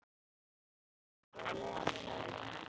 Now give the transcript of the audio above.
Ég var lengi á leiðinni heim.